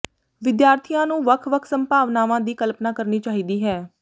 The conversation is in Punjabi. ਵਿਦਿਆਰਥੀਆਂ ਨੂੰ ਵੱਖ ਵੱਖ ਸੰਭਾਵਨਾਵਾਂ ਦੀ ਕਲਪਨਾ ਕਰਨੀ ਚਾਹੀਦੀ ਹੈ